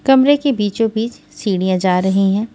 कमरे के बीचोंबीच सीढ़ियां जा रही हैं।